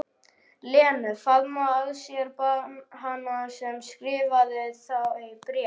Lenu, faðma að sér hana sem skrifaði þau bréf.